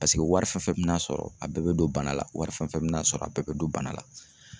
Paseke wari fɛn fɛn bɛna sɔrɔ a bɛɛ bɛ don bana la, wari fɛn fɛn bɛna sɔrɔ a bɛɛ bɛ don bana la.